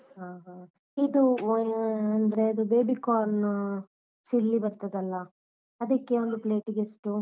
ಹಾ ಹಾ. ಇದು ಅಹ್ ಅಂದ್ರೆ baby corn ಚಿಲ್ಲಿ ಬರ್ತದಲ್ಲ ಅದಕ್ಕೆ ಒಂದು plate ಗೆ ಎಷ್ಟು?